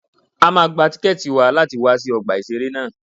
A máa gba tíkẹ̀tì wa láti wọ ọgbà ìṣẹ̀rẹ́ ná.